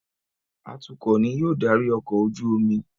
Atukọ̀ ní yóò darí ọkọ̀-ojú-omi